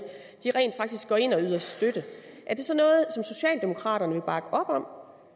rent faktisk går ind og yder støtte er det så noget som socialdemokraterne vil bakke op om